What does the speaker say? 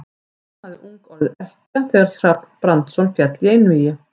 Hún hafði ung orðið ekkja þegar Hrafn Brandsson féll í einvígi.